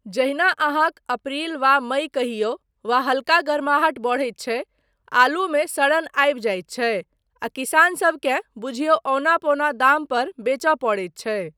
जहिना अहाँक अप्रिल वा मई कहियौ वा हल्का गर्माहट बढ़ैत छै, आलूमे सड़न आबि जाइत छै आ किसानसबकेँ बुझियौ औना पौना दामपर बेचय पड़ैत छै।